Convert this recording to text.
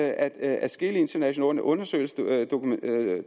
at adskillige internationale undersøgelser dokumenterer at